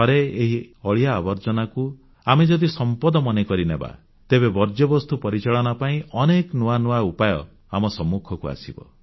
ଥରେ ଏହି ଅଳିଆ ଆବର୍ଜନାକୁ ଆମେ ଯଦି ସମ୍ପଦ ମନେ କରିନେବା ତେବେ ବର୍ଜ୍ୟବସ୍ତୁ ପରିଚାଳନା ପାଇଁ ଅନେକ ନୂଆ ନୂଆ ଉପାୟ ଆମ ସମ୍ମୁଖକୁ ଆସିବ